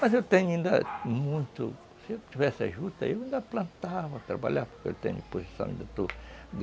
Mas eu tenho ainda muito... Se eu tivesse juta, eu ainda plantava, trabalhava, porque eu tenho disposição, ainda estou